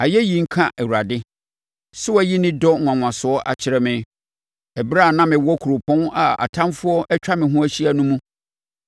Ayɛyi nka Awurade! Sɛ wayi ne dɔ nwanwasoɔ akyerɛ me ɛberɛ a na mewɔ kuropɔn a atamfoɔ atwa ho ahyia no mu.